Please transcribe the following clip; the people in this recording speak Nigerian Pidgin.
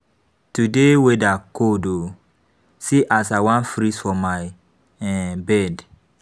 Today weather cold oo. See as I wan freeze for my bed.